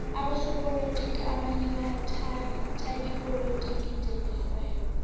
abosopolotiki abanye bathhatha ipolotiki njenge rhwebo